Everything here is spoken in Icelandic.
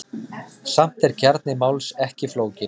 Samt er kjarni máls ekki flókinn.